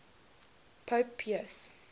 pope pius